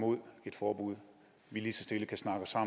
mod et forbud lige så stille kan snakke sig